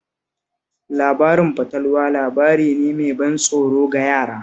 Labarin fatalwa labari ne mai ban tsoro ga yara